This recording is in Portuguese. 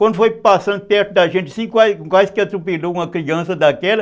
Quando foi passando perto da gente, assim, quase que atropelou uma criança daquela.